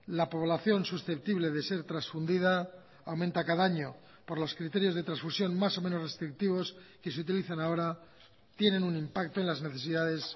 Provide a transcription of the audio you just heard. la población susceptible de ser transfundida aumenta cada año por los criterios de transfusión más o menos restrictivos que se utilizan ahora tienen un impacto en las necesidades